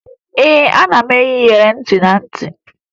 A na-eyi iyeri ntị na ntị